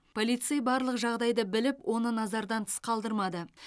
полицей барлық жағдайды біліп оны назардан тыс қалдырмады